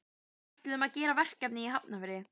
Við ætlum að gera verkefni í Hafnarfirði.